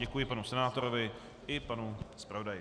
Děkuji panu senátorovi i panu zpravodaji.